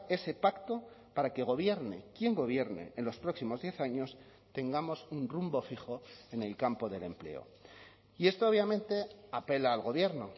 ese pacto para que gobierne quien gobierne en los próximos diez años tengamos un rumbo fijo en el campo del empleo y esto obviamente apela al gobierno